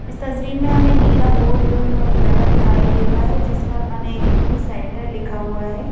इस तस्वीर में हमें नीला बोर्ड लगा दिखाई दे रहा है जिस पर अंन अकादमी सेंटर लिखा हुआ है।